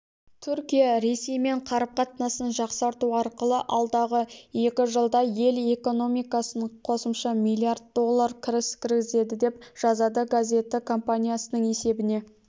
түркия ресеймен қарым-қатынасын жақсарту арқылы алдағы екі жылда ел экономикасына қосымша миллиард доллар кіріс кіргізеді деп жазады газеті компаниясының есебіне